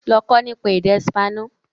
Lọ kọ́ nípa èdè espanol!